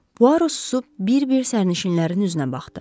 Puaro susub bir-bir sərnişinlərin üzünə baxdı.